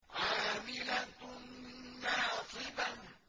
عَامِلَةٌ نَّاصِبَةٌ